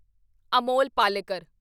Amol Palekar